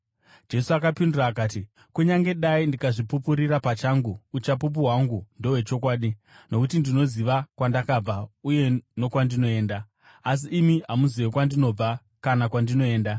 Jesu akapindura akati, “Kunyange dai ndikazvipupurira pachangu, uchapupu hwangu ndohwechokwadi, nokuti ndinoziva kwandakabva uye nokwandinoenda. Asi imi hamuzivi kwandinobva kana kwandinoenda.